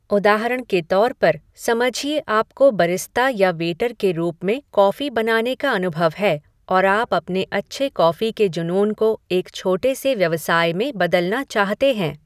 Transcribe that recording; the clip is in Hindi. उदाहरण के तौर पर, समझिए आपको बरिस्टा या वेटर के रूप में कॉफ़ी बनाने का अनुभव है और आप अपने अच्छे कॉफ़ी के जुनून को एक छोटे से व्यवसाय में बदलना चाहते हैं।